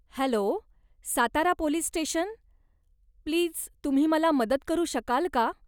Hello, Satara police station, please तुम्ही मला मदत करू शकाल का?